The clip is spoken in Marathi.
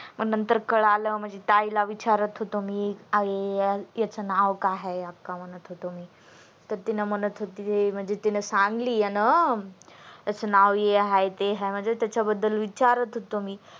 पण नंतर कळाल म्हणजे ताई ला विचारात होतो मी याच नाव काय अक्का म्हणत होतो मी तर तिणी म्हणत होती म्हणजे तीन सांगिली म्हण नाव हे अहे ते अहे विचारात होतो मी